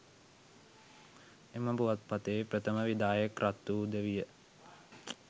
එම පුවත්පතේ ප්‍රථම විධායක කර්තෘද විය.